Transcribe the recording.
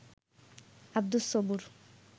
Abdus Sabur